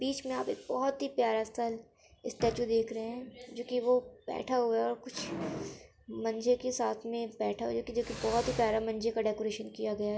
बिच में आप एक बहुत ही प्यारा सा स्टेच्यू देख रहे हैं। जो कि वो बैठा हुआ है और कुछ मंजे के साथ में बैठा हुआ है। जो कि बहुत ही प्यारा मंजे का डेकोरेशन किया गया है।